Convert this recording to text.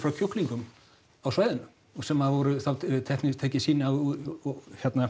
kjúklingum á svæðinu sem voru þá tekin sýni úr